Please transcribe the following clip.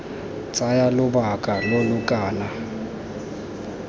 tsaya lobaka lo lo kana